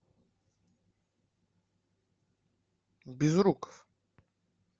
безруков